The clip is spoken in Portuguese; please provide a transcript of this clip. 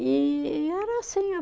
E e era assim.